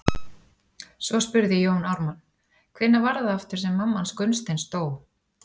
Svo spurði Jón Ármann:- Hvenær var það aftur sem mamma hans Gunnsteins dó?